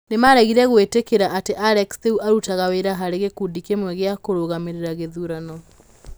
Nĩ maregire gwĩtĩkĩra atĩ Alex rĩu arutaga wĩra harĩ gĩkundi kĩmwe gĩa kũrũgamĩrĩra gĩthurano.